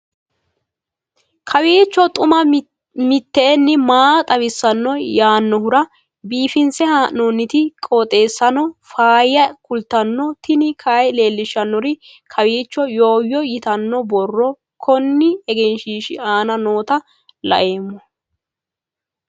kowiicho xuma mtini maa xawissanno yaannohura biifinse haa'noonniti qooxeessano faayya kultanno tini kayi leellishshannori kowiicho yooyo yitanno borro konni egenshshiishi aana nooota laoommo